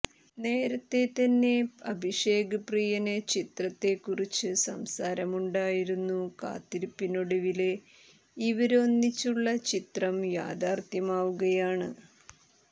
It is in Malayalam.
നേരെത്തെ തന്നെ അഭിഷേക് പ്രിയന് ചിത്രത്തെക്കുറിച്ച് സംസാരമുണ്ടായിരുന്നു കാത്തിരിപ്പിനൊടുവില് ഇവര് ഒന്നിച്ചുള്ള ചിത്രം യാഥാര്ത്ഥ്യമാവുകയാണ്